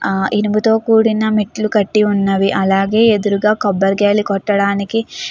ఆ ఇనుముతో కూడిన మెట్లు కట్టి ఉన్నవి. అలాగే ఎదురుగా కొబ్బరికాయలు కొట్టడానికి --